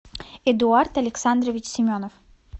эдуард александрович семенов